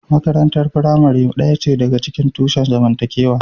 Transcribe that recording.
Makarantar firamare ɗaya ce daga cikin tushen zamantakewa.